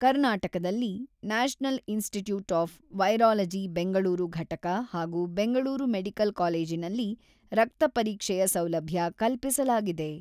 ಕರ್ನಾಟಕದಲ್ಲಿ national institute of virology Bengaluru ಘಟಕ ಹಾಗೂ ಬೆಂಗಳೂರು ಮೆಡಿಕಲ್ ಕಾಲೇಜಿನಲ್ಲಿ ರಕ್ತ ಪರೀಕ್ಷೆಯ ಸೌಲಭ್ಯ ಕಲ್ಪಿಸಲಾಗಿದೆ.